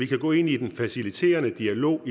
kan gå ind i den faciliterende dialog